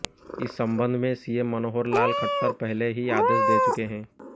इस संबंध में सीएम मनोहर लाल खट्टर पहले ही आदेश दे चुके हैं